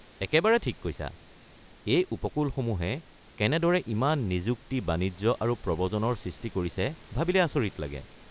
একেবাৰে ঠিক কৈছা! এই উপকূলসমূহে কেনেদৰে ইমান নিযুক্তি, বাণিজ্য আৰু প্ৰব্ৰজনৰ সৃষ্টি কৰিছে ভাবিলে আচৰিত লাগে।